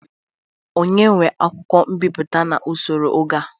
Onye nwe akwụkwọ mbịpụta n'osoro oge a?